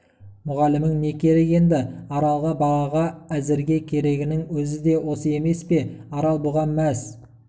мүғалімің не керек енді аралға балаға әзірге керегінің өзі де осы емес пе арал бұған мәз